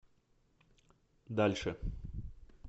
дальше